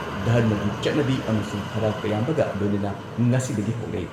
ꯙꯔꯃꯒꯤ ꯆꯠꯅꯕꯤ ꯑꯃꯁꯨꯡ ꯍꯔꯥꯎ ꯇꯌꯥꯝꯕꯒ ꯂꯣꯏꯅꯅ ꯉꯁꯤꯗꯒꯤ ꯍꯧꯔꯦ